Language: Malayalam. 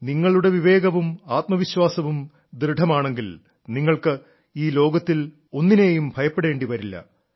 നിങ്ങളുടെ വിവേകവും ആത്മവിശ്വാസവും ദൃഢമാണെങ്കിൽ നിങ്ങൾക്ക് ഈ ലോകത്തിൽ ഒന്നിനേയും ഭയപ്പെടേണ്ടി വരില്ല